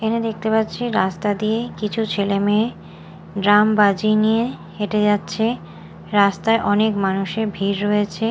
এখানে দেখতে পাচ্ছি রাস্তা দিয়ে কিছু ছেলে মেয়ে ড্রাম বাজিয়ে নিয়ে হেঁটে যাচ্ছে রাস্তায় অনেক মানুষের ভিড় রয়েছে।